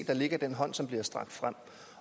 der ligger i den hånd som bliver strakt frem